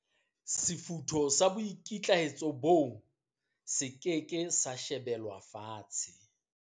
Sefutho sa boikitlaetso boo se ke ke sa shebelwa fatshe.